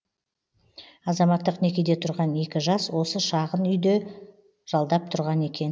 азаматтық некеде тұрған екі жас осы шағын үйді жалдап тұрған екен